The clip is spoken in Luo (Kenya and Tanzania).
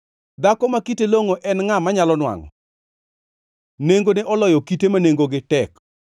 Dhako ma kite longʼo en ngʼa manyalo nwangʼo? Nengone oloyo kite ma nengogi tek.